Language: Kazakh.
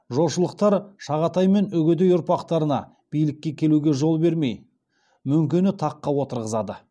жошылықтар шағатай мен үгедей ұрпақтарына билікке келуге жол бермей мөңкені таққа отырғызады